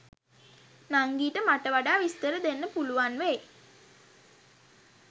නංගිට මට වඩා විස්තර දෙන්න පුලුවන් වෙයි.